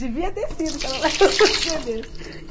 Devia ter sido, para ela largar de ser besta